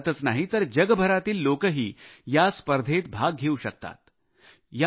केवळ भारतच नाही तर जगभरातील लोकही या स्पर्धेत भाग घेऊ शकतात